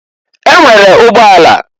E nwere ụgbọ ala.